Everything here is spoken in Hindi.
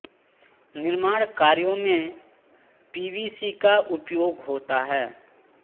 निर्माण कार्यों में पीवीसी का उपयोग होता है